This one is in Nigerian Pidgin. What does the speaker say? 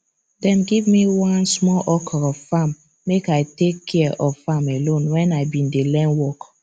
dem give me one small okro farm make i take care of am alone when i been dey learn work